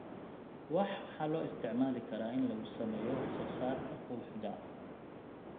Wax waxaa loo isticmaalaa in lagu sameeyo wax soo saarka quruxda.